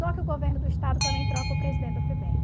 Só que o governo do Estado também troca o presidente da Febem.